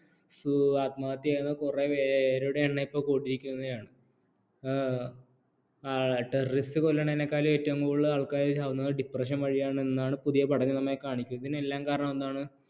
ആത്മഹത്യ കുറെ പേരുടെ എണ്ണം ഇപ്പോ കൂടിയിരിക്കുകയാണ് terrorist കൊല്ലുന്നതിനേക്കാളും ഏറ്റവും കൂടുതൽ ആൾക്കാർ ചാവുന്നത് depression വഴിയാണെന്ന് ആണ് പുതിയ പഠനം നമ്മെ കാണിക്കുന്നത് ഇതിനെല്ലാം കാരണമെന്താണ്